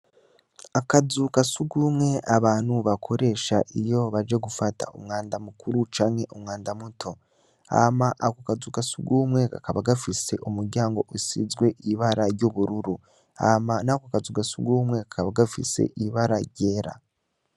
Akazu kasugumwe abantu bakoresha iyo baje gufata umwanda mukuru canke umwanda muto hama akokazu kasugumwe kakaba gafise umuryango usizwe ibara ryubururu hama nakokazu kasugumwe kakaba gafise ibara ryera